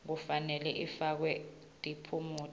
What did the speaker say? kufanele ifakwe tiphumuti